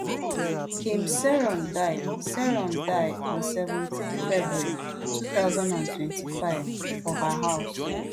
kim saeron die saeron die on seventeen february two thousand and twenty-five for her house